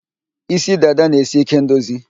Isí dada na-esi ike ndozi